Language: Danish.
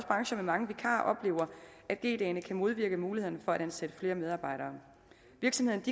brancher med mange vikarer oplever at g dagene kan modvirke mulighederne for at ansætte flere medarbejdere virksomhederne